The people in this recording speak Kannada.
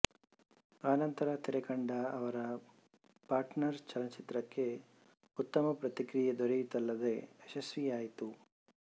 ಅನಂತರ ತೆರೆಕಂಡ ಅವರ ಪಾರ್ಟನರ್ ಚಲನಚಿತ್ರಕ್ಕೆ ಉತ್ತಮ ಪ್ರತಿಕ್ರಿಯೆ ದೊರೆಯಿತಲ್ಲದೇ ಯಶಸ್ವಿಯಾಯಿತು